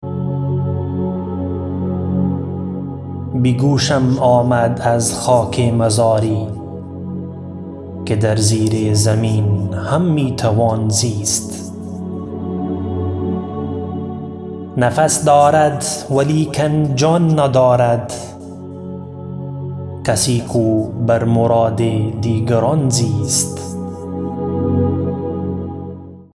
به گوشم آمد از خاک مزاری که در زیر زمین هم میتوان زیست نفس دارد ولیکن جان ندارد کسی کو بر مراد دیگران زیست